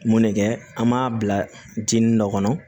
Mun ne kɛ an b'a bila jinin dɔ kɔnɔ